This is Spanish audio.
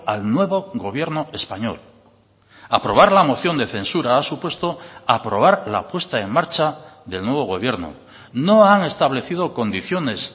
al nuevo gobierno español aprobar la moción de censura ha supuesto aprobar la puesta en marcha del nuevo gobierno no han establecido condiciones